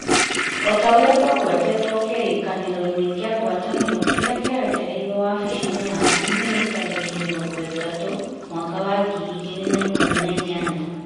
O ta ũrĩa kũgwetetwo kĩrĩkanĩroinĩ kĩa ngwatanĩro kĩrĩa kĩarekereirio wabici-inĩ yaku Mĩĩ tarĩki mĩrongo ĩtatũ mwaka wa ngiri igĩrĩ na ikũmi na inyanya ,